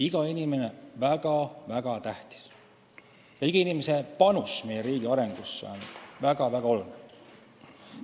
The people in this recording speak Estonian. Iga inimene on väga-väga tähtis ja iga inimese panus meie riigi arengusse on väga-väga oluline.